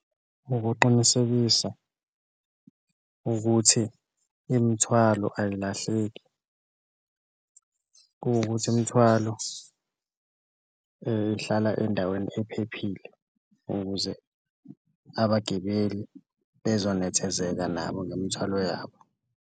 Ukuqinisekisa ukuthi imithwalo ayilahleki kuwukuthi imithwalo ihlala endaweni ephephile ukuze abagibeli bezonethezeka nabo nemthwalo yabo.